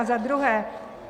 A za druhé.